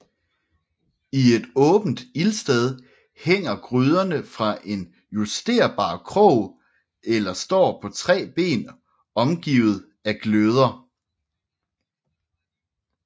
I et åbent ildsted hænger gryderne fra en justerbar krog eller står på tre ben omgivet af gløder